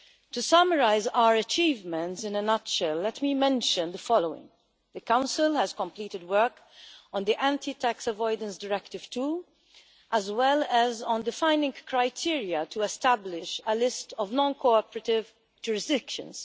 To summarise our achievements in a nutshell, let me mention the following the Council has completed work on Anti Tax Avoidance Directive 2, as well as on defining criteria to establish a list of non cooperative jurisdictions.